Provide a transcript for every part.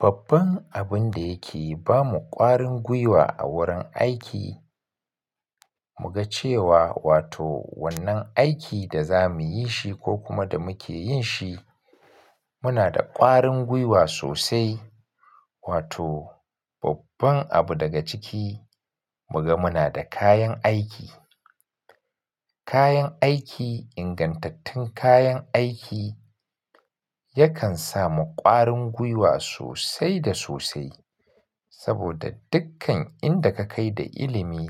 Babban abun da yake ba mu ƙwarin guiwa a wurin aiki, muga cewa wato wannan aikin da za muyi shi ko kuma da muke yin shi, muna da ƙwarin guiwa sosai. Wato babban abu daga ciki muga muna da kayan aiki. Kayan aiki, ingantattun kayan aiki yakan sa mu ƙwarin guiwa sosai da sosai. Saboda dukkan inda ka kai da ilimi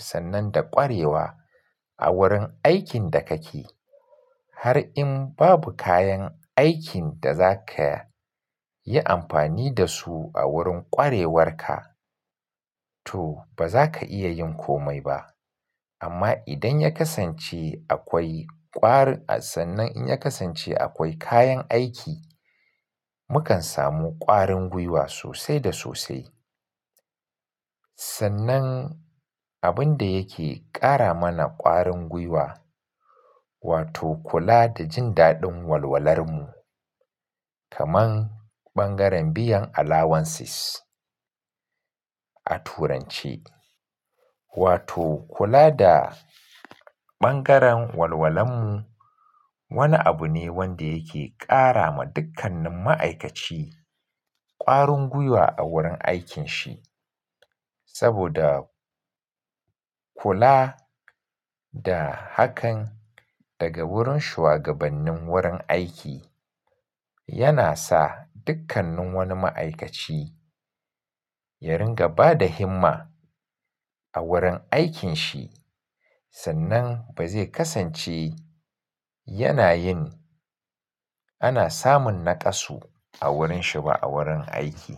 sannan da ƙwarewa a wurin aikin da kake, har in babu kayan aikin da za ka yi amfani da su a wurin ƙwarewarka to ba za ka iya yin komai ba. Amma idan ya kasance akwai ƙwarin, sannan in ya kasance akwai kayan aiki, mukan samu ƙwarin guiwa sosai da sosai. Sannan abun da yake ƙara mana ƙwarin guiwa, wato kula da jin daɗin walwalar mu, kaman ɓangaren biyan allowances a turanci. Wato kula da ɓangaren walwalar mu wani abu ne wanda yake ƙara ma dukkanin ma'aikaci ƙwarin guiwa a wurin aikinshi. Saboda kula da hakan daga wurin shugabannin wurin aiki yana sa dukkanin wani ma'aikaci ya rinƙa ba da himma a wurin aikinsa. Sannan ba zai kasance yana yin ana samun naƙasu a wurinshi ba a wurin aiki.